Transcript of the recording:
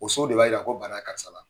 O so de b'a jira ko bana ye karisa la.